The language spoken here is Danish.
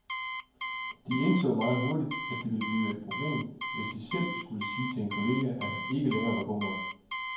De indså meget hurtigt, at det ville blive et problem, hvis de selv skulle sige til en kollega, at han ikke længere var god nok.